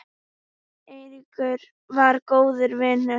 Eiríkur var góður vinur.